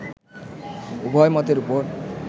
উভয় মতের উপর